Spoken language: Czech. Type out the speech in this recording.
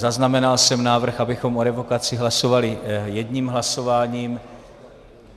Zaznamenal jsem návrh, abychom o revokaci hlasovali jedním hlasováním.